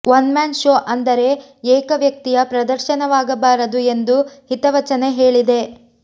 one man show ಅಂದರೆ ಏಕ ವ್ಯಕ್ತಿಯ ಪ್ರದರ್ಶನವಾಗಬಾರದು ಎಂದು ಹಿತವಚನೆ ಹೇಳಿದೆ